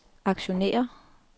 aktionærer